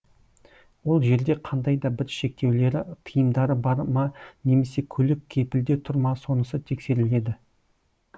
ол жерде қандайда бір шектеулері тиымдары бар ма немесе көлік кепілде тұр ма сонысы тексеріледі